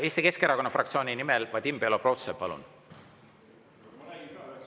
Eesti Keskerakonna fraktsiooni nimel Vadim Belobrovtsev, palun!